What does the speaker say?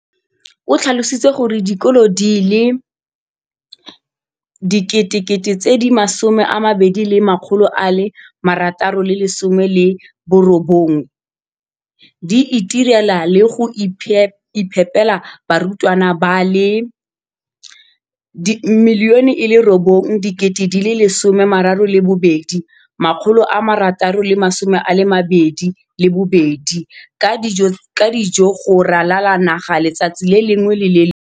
o tlhalositse gore dikolo di le 20 619 di itirela le go iphepela barutwana ba le 9 032 622 ka dijo go ralala naga letsatsi le lengwe le le lengwe.